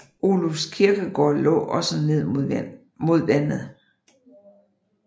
Olufs Kirkegård lå også ned mod vandet